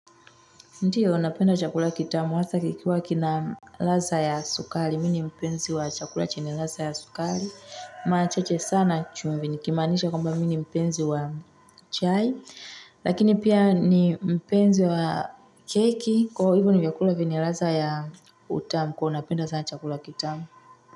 Ndiyo, napenda chakula kitamu, hasa kikiwa kina ladha ya sukari. Mimi ni mpenzi wa chakula chenye ladha ya sukari. Mara chache sana chumvi. Nikimaanisha kwamba mimi ni mpenzi wa chai. Lakini pia ni mpenzi wa keki. Kwahiyo hivyo ni vyakula vyenye ladha ya utamu. Kuhu unapenda sana chakula kitamu.